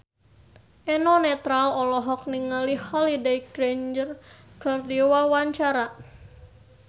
Eno Netral olohok ningali Holliday Grainger keur diwawancara